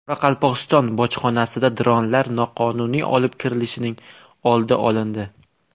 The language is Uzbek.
Qoraqalpog‘iston bojxonasida dronlar noqonuniy olib kirilishining oldi olindi.